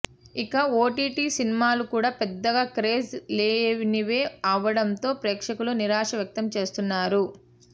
ఇక ఓటీటీ సినిమాలు కూడా పెద్దగా క్రేజ్ లేనివే అవ్వడంతో ప్రేక్షకులు నిరాశ వ్యక్తం చేస్తున్నారు